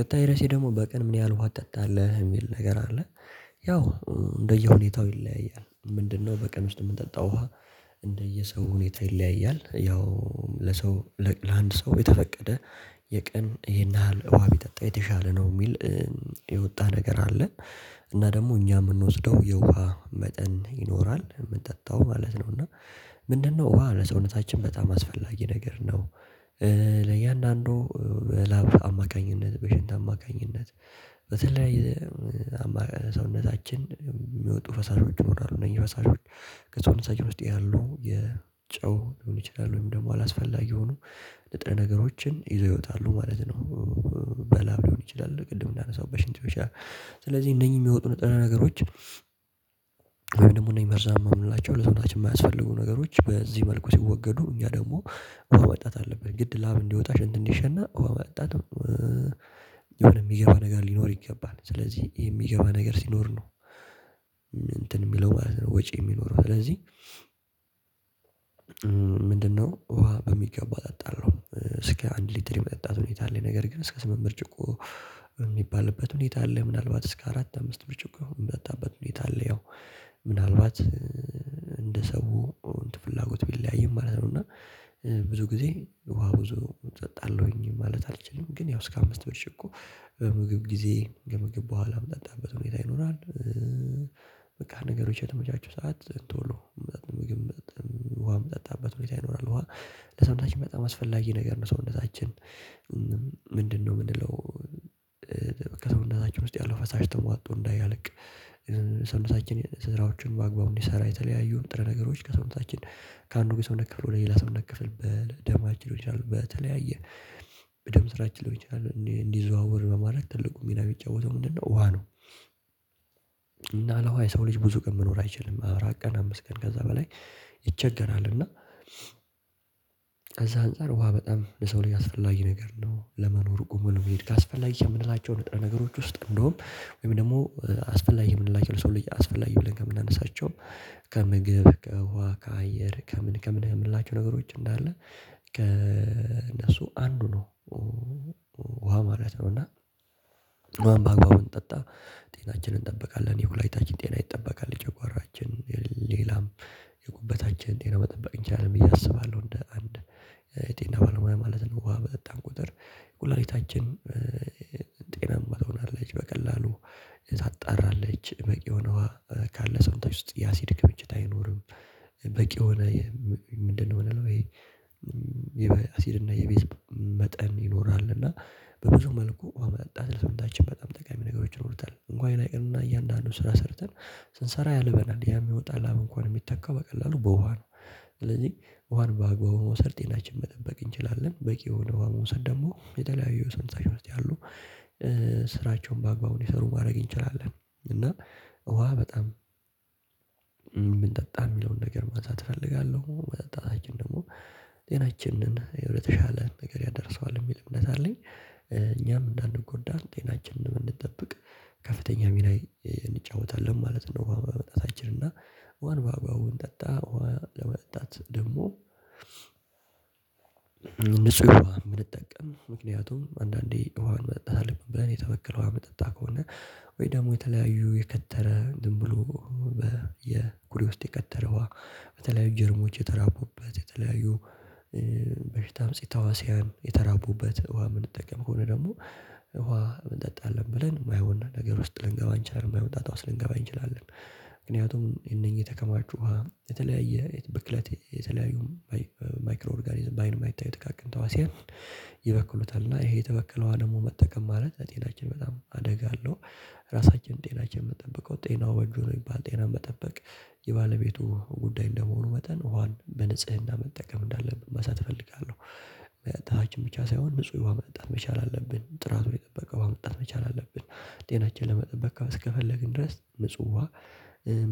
ቀጣይ ርህሴ ደግሞ በቀን ምን ያህል ውሃ ትጠጣ ለህ የሚል ነገር አለ? ያው እንደ የሁኔታው ይለያያል። ምንድነው? በቀን ውስጥ የምንጠጣው ውሃ እንደየሰው ሁኔታ ይለያያል። ያው ለሰው ለአንድ ሰው የተፈቀደ የቀን ይሄን ያህል ውሃ ቢጠጣ የተሻለ ነው የሚል የወጣ ነገር አለ። እና ደግሞ እኛ የምንወስደው የውሃ መጠን ይኖራል የምጠጣው ማለት ነው። እና ምንድነው? ውሃ ለሰውነታችን በጣም አስፈላጊ ነገር ነው። ለእያንዳንዱ ላብ አማካኝነት በሽንት አማካኝነት በተለያየ ሰውነታችን የሚወጡ ፈሳሾች ይኖራሉ ነው። የፈሳሾች ከሰዉነታችን ውስጥ ያሉ የጨው ሊሆን ይችላል ወይም ደግሞ አላስፈላጊ የሆኑ ንጥረ ነገሮችን ይዘው ይወጣሉ ማለት ነው። በላብ ሊሆን ይችላል ቅድም እንዳነሳውት በሽንት ብቻ ስለዚህ እነኚህ የሚወጡ ነገሮች። ወይ ደግሞ እኔ መርዛማ የምንላቸው ለሰውነታችን የማያስፈልጉ ነገሮች በዚህ መልኩ ሲወገዱ እኛ ደግሞ መጠጣት አለብን ግድ ላብ እንዲወጣ ሽንት እንዲሸና ውሃ መጠጣት አለብን። የሆነ የሚገባ ነገር ሊኖር ይገባል ስለዚህ የሚገባ ነገር ሲኖር ነው። እንትን የሚለው ማለት ነው ወጪ የሚኖረው ስለዚህ። ምንድነው? ውሃ በሚገባ እጠጣለሁ እስከ አንድ ሊትር የመጠጣት ሁኔታ ላይ ነገር ግን እስከ ስምንት ብርጭቆ የሚባልበት ሁኔታ አለ። ምናልባት እስከ አራት አምስት ብርጭቆ የሆነ የምጠጣበት ሁኔታ አለ ያው ምናልባት እንደ ሰው ፍላጎት ቢለያይም ማለት ነው። እና ብዙ ጊዜ ውሃ ብዙ እጠጣለሁኝ ማለት አልችልም ግን ያው እስከ አምስት ብርጭቆ በምግብ ጊዜ ከምግብ በኋላም ምጠጣበት ሁኔታ ይኖራል። በቃ ነገሮች የተመቻቹ ሰዓት ቶሎ ምግብ ውሃም ምጠጣበት ሁኔታ ይኖራል ውሃ ለሰውነታችን በጣም አስፈላጊ ነገር ነው። ሰውነታችን ምንድነው ምንለው? ከሰውነታችን ውስጥ ያለው ፈሳሽ ተሟጦ እንዳያልቅ ሰውታችን ስራዎችን በአግባቡ እንዲሰራ የተለያዩ ንጥረ ነገሮች ከሰውነታችን ከአንዱ የሰውነት ክፍል ወደ ሌላ ሰውነት ክፍል በደማችን ሊሆን ይችላል በተለያየ በደም ስራችን ሊሆን ይችላል እንዲዘዋወር በማድረግ ትልቁ ሚና የሚጫወተው ምንድነው ውሃ ነው። እና ያለውሃ የሰው ልጅ ብዙ ቀን መኖር አይችልም። አራት ቀን አምስት ቀን ከዛ በላይ ይቸገራል። እና ከዛ አንፃር ውሃ በጣም ለሰው ልጅ አስፈላጊ ነገር ነው። ለመኖር ቆሞ ለመሄድ ካስፈላጊ ከምንላቸው ንጥረ ነገሮች ውስጥ እንደውም ወይም ደግሞ አስፈላጊ የምንላቸው ለሰው ልጅ አስፈላጊ ብለን ከምናነሳቸው ከምግብ ከውሃ ከአየር ከምን ከምን ከምን የምላችሁ ነገሮች እንዳለ ከእነሱ አንዱ ነው። ውሃ ማለት ነው። እና ውሃን በአግባቡ እንጠጣ ጤናችንን እንጠብቃለን የኩላሊታችን ጤና ይጠበቃል። የጨጕራችን ሌላም የጉበታችን ጤና መጠበቅ እንችላለን ብዬ አስባለሁ። እንደ አንድ የጤና ባለሙያ ማለት ነው። ውሃ በጠጣን ቁጥር ኩላሊታችን ጤናማ ትሆናለች በቀላሉ ታጣራለች በቂ የሆነ ውሃ ካለ ሰውንታችን ውስጥ የአሲድ ክምችት አይኖርም። በቂ የሆነ ምንድነው ምንለሁ? ይሄ የአሲድ እና የቤዝ መጠን ይኖራል እና በብዙ መልኩ ውሃ መጠጣት ለሰውነታችን በጣም ጠቃሚ ነገሮች ይኖሩታል። እንኳን ሌላ ይቅርና እያንዳንዱን ስራ ሰርተን ስንሰራ ያልበናል ያም የሚወጣው ላብ እንኳን የሚተካው በቀላሉ በውሃ ነው። ስለዚህ ውሃን በአግባቡ መውሰድ ጤናችን መጠበቅ እንችላለን በቂ የሆነ ውሃ መውሰድ ደግሞ የተለያዩ ሰውነታችን ውስጥ ያሉ ስራቸውን በአግባቡ ሊሰሩ ማድረግ እንችላለን። እና ውሃ በጣም ብንጠጣ የሚለውን ነገር ማንሳት እፈልጋለሁ። መጠጣታችን ደግሞ ጤናችንን ለተሻለ ነገር ያደርሰዋል የሚል እምነት አለኝ። እኛም እንዳንጎዳ ጤናችንን ብንጠብቅ ከፍተኛ ሚና እንጫወታለን ማለት ነው። በመጣታችን እና ውሃን ባግባቡ እንጠጣ ውሃ ለመጠጣት ደግሞ ንጹህ ውሃ ብንጠቀም ምክንያቱም አንዳንዴ ውሃን መጠጣት አለብን ብለን የተበከለ ውሃ ምንጠጣ ከሆነ። ወይ ደግሞ የተለያዩ የከተረ ዝም ብሎ በ የኩሬ ውስጥ የከተረ ውሃ በተለያዩ ጀርሞች የተራቡበት የተለያዩ በሽታ አምጨ ተዋሲያን የተራቡበት ውሃ የምንጠቀም ከሆነ ደግሞ ውሃ እንጠጣለን ብለን የማይሆን ነገር ውስጥ ልንገባ እንችላለን የማይሆን ጣጣ ዉስጥ ልንገባ እንችላለን። ምክንያቱም እነኚህ የተከማቹ ውሃ የተለያየ ብክለት የተለያዩ ማይክሮ ኦርጋኒዝም በአይን የማይታዩ ጥቃቅን ተዋሲያን ይበክሉታል እና ይሄ የተበከለ ውሃ ደግሞ መጠቀም ማለት ለጤናችን በጣም አደጋ አለው። ራሳችን ጤናችን የምጠብቀው ጤናው በእጁ ነው የሚባል ጤናው መጠበቅ የባለቤቱ ጉዳይ እንደመሆኑ መጠን ውሃን በንጽህና መጠቀም እንዳለብን ማንሳት እፈልጋለሁ። በታች ብቻ ሳይሆን ንጹህ ውሃ መጠጣት መቻል አለብን ጥራቱን የጠበቀ ውሃ መጠጣት መቻል አለብን። ጤናችን ለመጠበቅ እስከፈለግን ድረስ ንጹህ ውሃ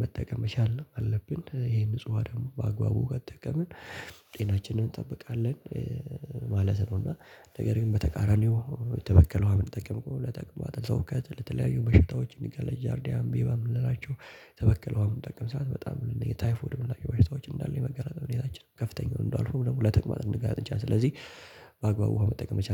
መጠቀም መቻል አለብን። ይሄ ንጹህ ውሃ ደግሞ በአግባቡ ከተጠቀምን ጤናችንን እንጠብቃለን ማለት ነው። እና ነገር ግን በተቃራኒው የተበከለ ውሃ ምንጠቀም ከሆነ ለተጠቅማጥ ለትውከት ለተለያዩ በሽታዎች ለጃርዲያ አሜባ ምንላቸው የተበከለ ውሃ በምንጠቀም ሰዓት በጣም ታይፎድ የምንላቸው በሽታዎች እንዳለ የመጋለጥ ሁኔታችን በ ከፍተኛውን እንደው አልፉም ደግሞ ለተጠቅማጥ ልንጋለጥ እንችላለን። ስለዚህ በአግባቡ ውሃ መጠቀም ይሻላል